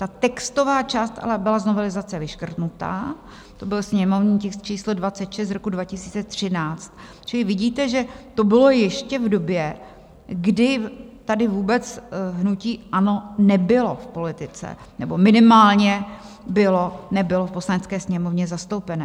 Ta textová část ale byla z novelizace vyškrtnuta, to byl sněmovní tisk číslo 26 z roku 2013, čili vidíte, že to bylo ještě v době, kdy tady vůbec hnutí ANO nebylo v politice nebo minimálně nebylo v Poslanecké sněmovně zastoupené.